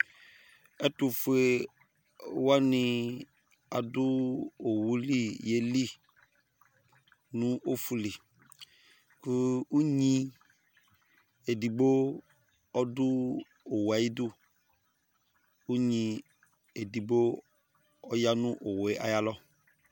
Ɛtuƒoéwanɩ aɖʊ owulɩ ƴélɩ ŋʊ ɔƒʊlɩ Ƙʊ ʊnɣɩ éɖɩgbo ɔɖʊ ɔwʊé ayiɖʊ Ƙʊ ʊnɣɩ éɖɩgbo ɔƴaŋʊ owʊé aƴalɔ